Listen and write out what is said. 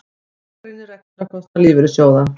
Gagnrýnir rekstrarkostnað lífeyrissjóða